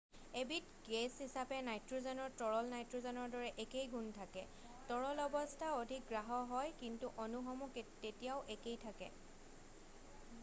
এবিধ গেছ হিচাপে নাইট্ৰ'জেনৰ তৰল নাইট্ৰ'জেনৰ দৰে একেই গুণ থাকে৷ তৰল অৱস্থা অধিক গাঢ় হয় কিন্তু অণুসমূহ তেতিয়াও একেই থাকে৷